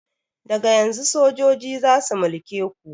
Daga yanzun sojoji zasu mulke ku